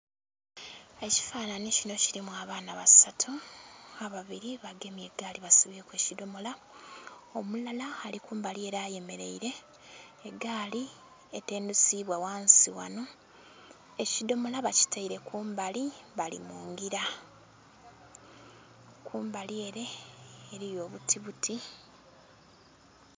Ekifanhanhi kino kilimu abaana basatu, ababiri bagemye egaali basibyeku ekidhomola omulala ali kumbali ele ayemeleire. Egaali etendhusibwa ghansi wano, ekidhomola bakitaire ku mbali bali mu ngira, ku mbali ele eliyo obutibuti.